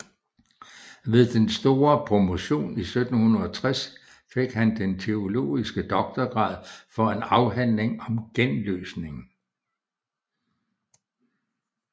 Ved den store promotion 1760 fik han den teologiske doktorgrad for en afhandling om genløsningen